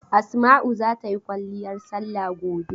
Asma'u za ta yi kwalliyar salla gobe.